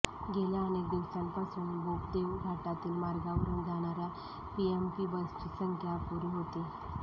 गेल्या अनेक दिवसांपासून बोपदेव घाटातील मार्गावरून जाणाऱ्या पीएमपी बसची संख्या अपुरी होती